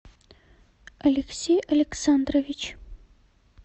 алексей александрович